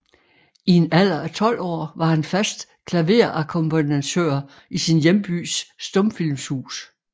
I en alder af 12 år var han fast klaverakkompagnatør i sin hjembys stumfilmshus